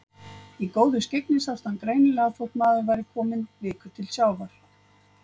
Í góðu skyggni sást hann greinilega þótt maður væri kominn viku til sjávar.